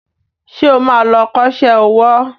Ṣé o ma lọ kọ́ṣẹ́ owó?